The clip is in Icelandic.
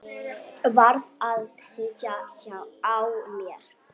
Varð að sitja á mér.